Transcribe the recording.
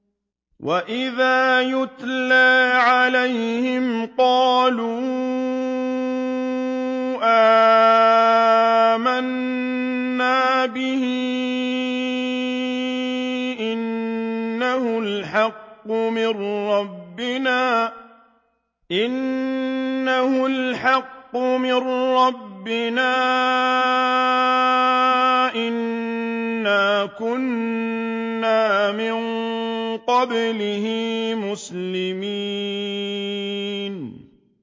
وَإِذَا يُتْلَىٰ عَلَيْهِمْ قَالُوا آمَنَّا بِهِ إِنَّهُ الْحَقُّ مِن رَّبِّنَا إِنَّا كُنَّا مِن قَبْلِهِ مُسْلِمِينَ